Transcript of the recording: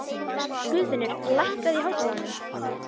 Guðfinnur, lækkaðu í hátalaranum.